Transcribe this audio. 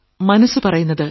മനസ്സു പറയുന്നത്